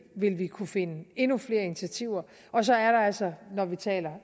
vil vi kunne finde frem endnu flere initiativer og så er der altså når vi taler